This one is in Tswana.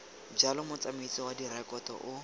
jalo motsamaisi wa direkoto o